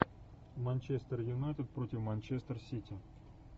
манчестер юнайтед против манчестер сити